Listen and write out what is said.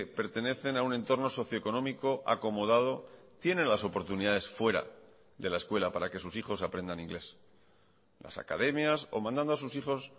pertenecen a un entorno socio económico acomodado tiene las oportunidades fuera de la escuela para que sus hijos aprendan inglés las academias o mandando a sus hijos